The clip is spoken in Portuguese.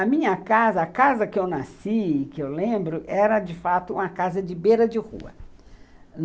A minha casa, a casa que eu nasci e que eu lembro, era de fato uma casa de beira de rua.